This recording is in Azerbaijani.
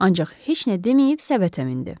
Ancaq heç nə deməyib səbətə mindi.